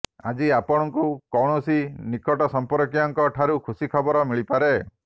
ଆଜି ଅପଣକୁ କୌଣସି ନିକଟ ସମ୍ପର୍କୀୟଙ୍କ ଠାରୁ ଖୁସି ଖବର ମିଳିପାରେ